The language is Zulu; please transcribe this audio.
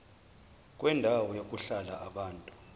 kwendawo yokuhlala yabantu